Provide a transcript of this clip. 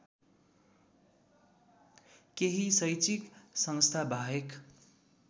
केही शैक्षिक संस्थाबाहेक